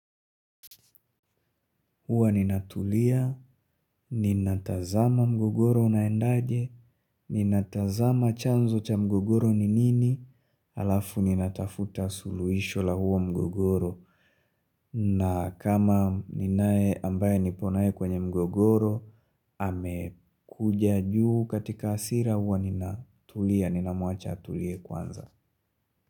Huwa ninatulia, ninatazama mgogoro unaendaje, ninatazama chanzo cha mgogoro ni nini, alafu ninatafuta suluhisho la huo mgogoro. Na kama ninae ambaye nipo naye kwenye mgogoro, amekuja juu katika hasira huwa ninatulia, ninamuacha atulie kwanza.